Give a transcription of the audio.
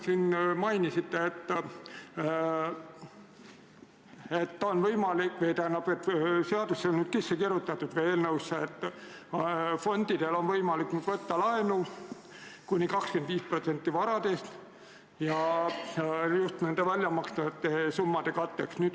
Te enne mainisite, et eelnõusse on kirjutatud, et fondidel on võimalik võtta laenu kuni 25% ulatuses varast, seda just väljamakstavate summade katteks.